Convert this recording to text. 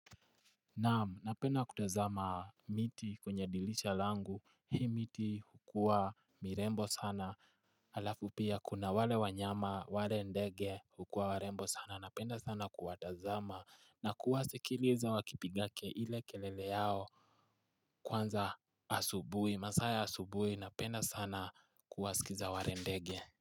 Naam napenda kutazama miti kwenye dirisha langu hii miti hukuwa mirembo sana Alafu pia kuna wale wanyama wale ndege hukua warembo sana napenda sana kuwatazama na kuwasikiliza wakipiga kelele yao Kwanza asubui masaa ya asubui napenda sana kuwasikiza wale ndege.